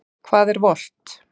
Hvað er volt?